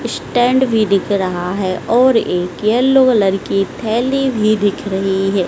Stand भी दिख रहा है और एक येलो कलर की थैली भी दिख रही है।